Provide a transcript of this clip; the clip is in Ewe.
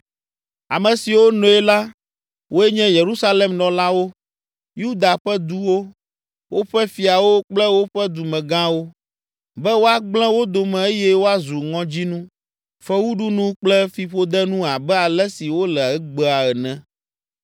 Ame siwo noe la woe nye Yerusalem nɔlawo, Yuda ƒe duwo, woƒe fiawo kple woƒe dumegãwo, be woagblẽ wo dome eye woazu ŋɔdzinu, fewuɖunu kple fiƒodenu abe ale si wole egbea ene.